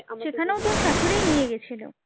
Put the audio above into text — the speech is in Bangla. সেখনও তোর স্বাশুড়ীই নিয়ে গেছিলো?